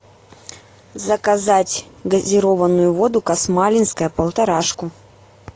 заказать газированную воду касмалинская полторашку